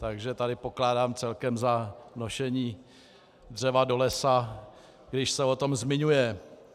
Takže tady pokládám celkem za nošení dřeva do lesa, když se o tom zmiňuje.